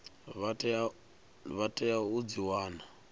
vha tea u dzi wana